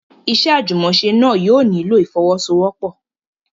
Iṣẹ́ àjùmọ̀ṣe náà yóò nílò ìfọ́wọ́sọwọ́pọ̀.